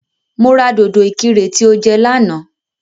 Mo ra dòdò ìkirè tí o jẹ lánàá